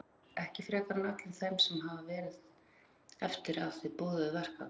Hjörtur: Ekki frekar en öllum þeim sem hafa verið eftir að þið boðuðu verkfall?